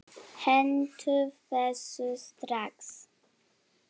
Hentu þessu strax!